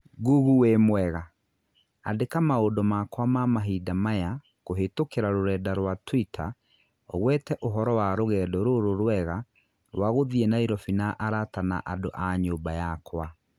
Google wĩ mwega, andĩka maundũ makwa ma mahinda maya kũhītũkīra rũrenda rũa tũita ũgweta ũhoro wa rũgendo rũrũ rũega rwa kuthiĩ Nairobi na arata na andũ a nyumba yakwa.